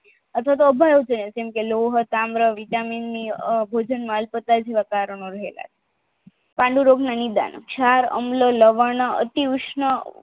અથવાતો જેમકે લોહી પાન્ગર વિટામિનની પન્ડુ રોગના નિદાન ચાર અંગલ લગનના અતિઉષ્મ